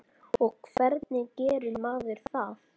Og hvernig gerir maður það?